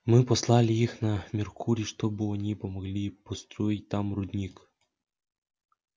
мы послали их на меркурий чтобы они помогли построить там рудник